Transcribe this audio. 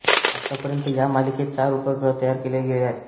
आत्तापर्यंत या मालिकेत चार उपग्रह तयार केले गेलेले आहेत